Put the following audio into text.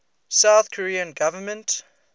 south korean government